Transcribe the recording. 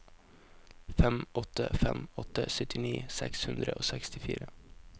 fem åtte fem åtte syttini seks hundre og sekstifire